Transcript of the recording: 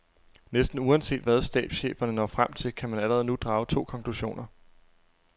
Næsten uanset hvad stabscheferne når frem til, kan man allerede nu drage to konklusioner.